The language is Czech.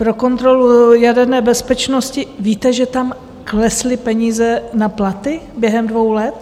- pro kontrolu jaderné bezpečnosti, víte, že tam klesly peníze na platy během dvou let?